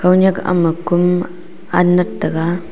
khonyak ama kom anat taga.